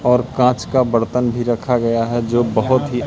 और कांच का बर्तन भी रखा गया है जो बहोत ही--